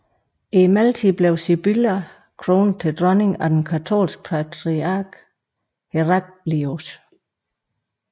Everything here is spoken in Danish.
I mellemtiden blev Sibylla kronet til dronning af den katolske patriark Heraclius